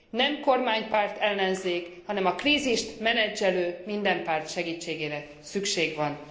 nem kormánypárt ellenzék, hanem a krízist menedzselő minden párt segítségére szükség van.